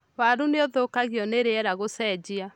Waru nĩ ũthũkagio nĩ riera gũcenjia.